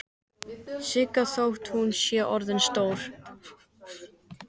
Siggu þótt hún sé orðin stór.